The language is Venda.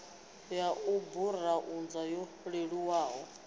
ya u burauza yo leluwaho